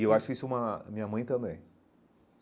E eu acho isso uma... minha mãe também.